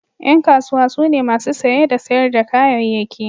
Yan kasuwa su ne masu saye da sayar da kayayyaki.